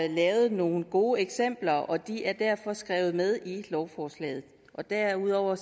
lavet nogle gode eksempler og de er derfor skrevet med i lovforslaget derudover